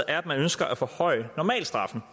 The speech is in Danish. er at man ønsker at forhøje normalstraffen